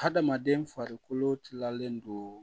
Hadamaden farikolo tilalen don